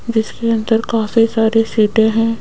जिसके अंदर काफी सारे सीटें हैं।